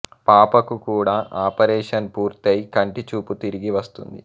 పాపకు కూడా ఆపరేషన్ పూర్తై కంటి చూపు తిరిగి వస్తుంది